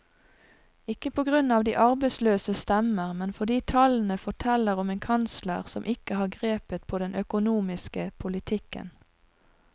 Ikke på grunn av de arbeidsløses stemmer, men fordi tallene forteller om en kansler som ikke har grepet på den økonomiske politikken.